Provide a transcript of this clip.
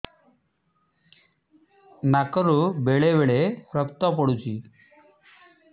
ନାକରୁ ବେଳେ ବେଳେ ରକ୍ତ ପଡୁଛି